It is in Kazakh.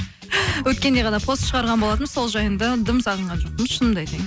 өткенде ғана пост шығарған болатынмын сол жайында дым сағынған жоқпын шынымды айтайын